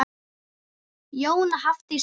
Jóna, Hafdís og Lilja.